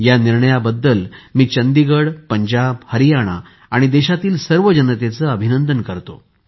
या निर्णयाबद्दल मी चंदीगड पंजाब हरियाणा आणि देशातील सर्व जनतेचे अभिनंदन करतो